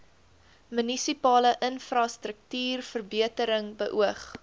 munisipale infrastruktuurverbetering beoog